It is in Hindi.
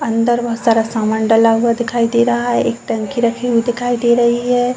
अंदर बोहोत सारा सामान डला हुआ दिखाई दे रहा है। एक टंकी रखी हुई दिखाई दे रही है।